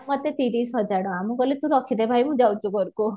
ମତେ ତିରିସ ହଜାର ଟଙ୍କା ମୁଁ କହିଲି ତୁ ରଖିଦେ ଭାଇ ମୁଁ ଯାଉଛି ଘରକୁ